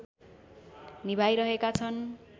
निभाइरहेका छन्